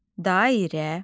Dairə.